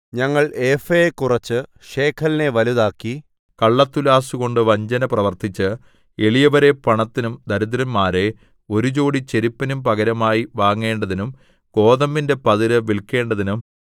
ഞങ്ങൾ ഏഫയെ കുറച്ച് ശേക്കലിനെ വലുതാക്കി കള്ളത്തുലാസ്സുകൊണ്ട് വഞ്ചന പ്രവർത്തിച്ച് എളിയവരെ പണത്തിനും ദരിദ്രന്മാരെ ഒരു ജോടി ചെരുപ്പിനും പകരമായി വാങ്ങേണ്ടതിനും ഗോതമ്പിന്റെ പതിര് വില്ക്കേണ്ടതിനും